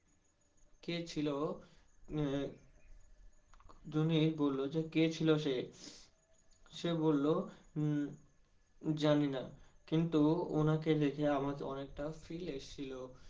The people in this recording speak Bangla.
কে ছিল ও? জুনি বললো কে ছিল সে, সে বললো জানিনা কিন্তু ওনাকে দেখে আমার অনেকটা feel এসেছিলো।